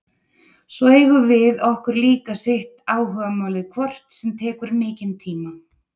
Svo eigum við okkur líka sitt áhugamálið hvort sem tekur mikinn tíma.